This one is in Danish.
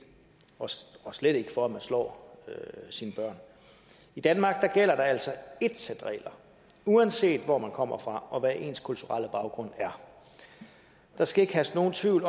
og slet ikke for at man slår sine børn i danmark gælder der altså ét sæt regler uanset hvor man kommer fra og hvad ens kulturelle baggrund er der skal ikke herske nogen tvivl